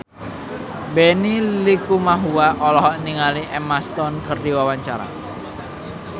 Benny Likumahua olohok ningali Emma Stone keur diwawancara